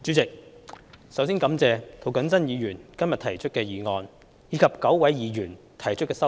主席，首先感謝涂謹申議員今天提出議案，以及9位議員提出修正案。